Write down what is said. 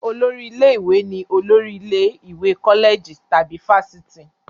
Olórí ilé-ìwé ni olórí ilé ìwé kọ́lẹ̀jì tàbí fáfitì.